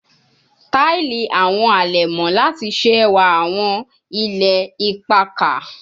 Ti lo awọn alẹmọ lati ṣe ẹwa awọn ilẹ ipakà